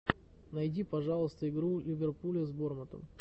найди пожалуйста игру ливерпуля с бормутом